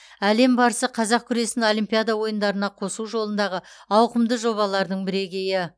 әлем барысы қазақ күресін олимпиада ойындарына қосу жолындағы ауқымды жобалардың бірегейі